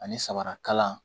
Ani sabarakalan